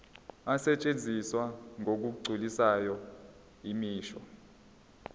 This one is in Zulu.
asetshenziswa ngokugculisayo imisho